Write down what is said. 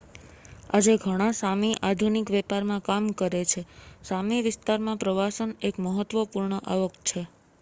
આજે ઘણા સામી આધુનિક વેપારમાં કામ કરે છે સામી વિસ્તારમાં પ્રવાસન એક મહત્વપૂર્ણ આવક છે